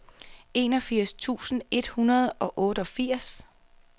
enogfirs tusind et hundrede og otteogfirs